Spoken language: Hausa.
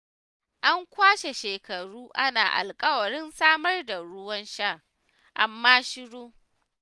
An kwashe shekaru ana alƙawarin samar da ruwan sha, amma shiru.